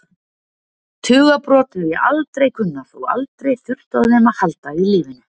Tugabrot hef ég aldrei kunnað og aldrei þurft á þeim að halda í lífinu.